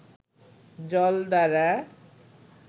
জল দ্বারা